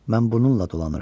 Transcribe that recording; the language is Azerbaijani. Mən bununla dolanıram.